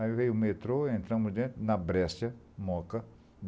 Aí veio o metrô, entramos dentro, na Breccia, Moca.